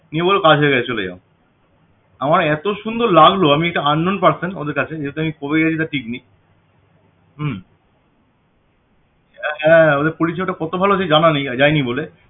নিয়ে বললো বাস হয়ে গেছে চলে যাও আমায় এত সুন্দর লাগলো আমি একটা unknown person ওদের কাছে যেহেতু আমি কবে গেছি তার ঠিক নেই হম হ্যাঁ ওদের পরিষেবাটা কত ভালো যে জানা নেই যাই নি বলে